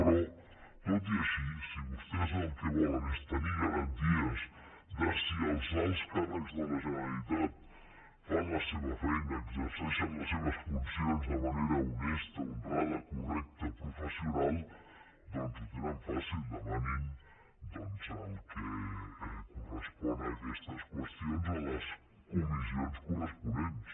però tot i així si vostès el que volen és tenir garanties de si els alts càrrecs de la generalitat fan la seva feina exerceixen les seves funcions de manera honesta honrada correcta professional doncs ho tenen fàcil demanin el que correspon a aquestes qüestions en les comissions corresponents